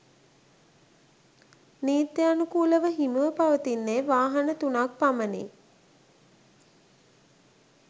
නිත්‍යානුකූලව හිමිව පවතින්නේ වාහන තුනක් පමණි.